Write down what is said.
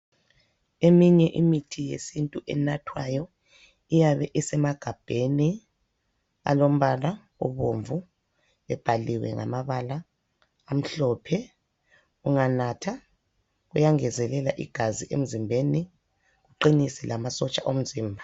Eminye imithi yesintu enathwayo iyabe isemagabheni alombala obomvu, ebhaliwe ngamabala amhlophe, unganatha uyangezelela igazi emzimbeni uqinise lamasotsha omzimba.